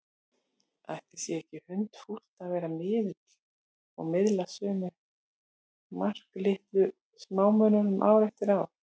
Ætli sé ekki hundfúlt að vera miðill og miðla sömu marklitlu smámunum ár eftir ár?